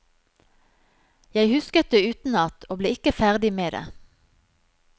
Jeg husket det utenat, og ble ikke ferdig med det.